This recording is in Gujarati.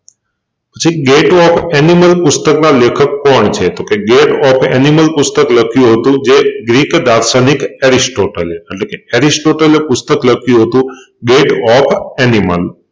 પછી ગેટ ઓફ એનિમલ પુસ્તકનાં લેખક કોણ છે તોકે ગેટ ઓફ એનિમલપુસ્તક લખ્યું હતું જે ગ્રીક દાર્શનિક એરિસ્ટોટલે એટલેકે અરિસ્ટોટલે પુસ્તક લખ્યું હતું ગેટ ઓફ એનિમલ